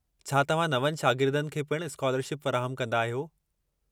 छा तव्हां नवनि शागिर्दनि खे पिणु स्कालरशिप फ़राहमु कंदा आहियो?